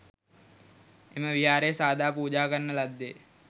එම විහාරය සාදා පූජා කරන ලද්දේ